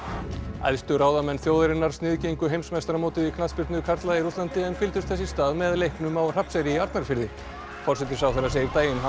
æðstu ráðamenn þjóðarinnar sniðgengu heimsmeistaramótið í knattspyrnu karla í Rússlandi en fylgdust þess í stað með leiknum á Hrafnseyri í Arnarfirði forsætisráðherra segir daginn hafa